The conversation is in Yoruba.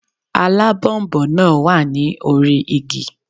Alábònboǹ náà wà ní orí igi